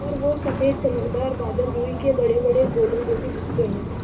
और वो सफ़ेद चमकदार बादल रूई के बड़ेबड़े गोलों जैसे दिखते हैं